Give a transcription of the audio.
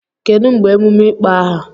Kedu mgbe emume ịkpọ aha?